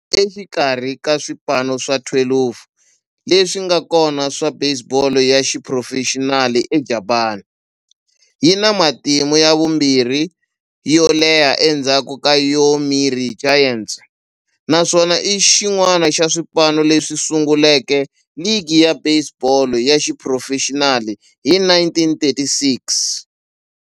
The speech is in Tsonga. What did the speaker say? Exikarhi ka swipano swa 12 leswi nga kona swa baseball ya xiphurofexinali eJapani, yi na matimu ya vumbirhi yo leha endzhaku ka Yomiuri Giants, naswona i xin'wana xa swipano leswi sunguleke ligi ya baseball ya xiphurofexinali hi 1936.